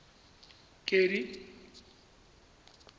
kedi